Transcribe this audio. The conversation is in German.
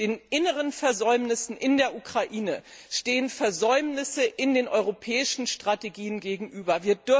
Den inneren Versäumnissen in der Ukraine stehen Versäumnisse in den europäischen Strategien gegenüber.